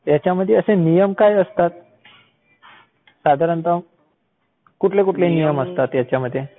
ह्यांच्यामध्ये असे नियम काय असतात? साधारणतः. कुठले कुठले नियम असतात ह्यांच्यामध्ये?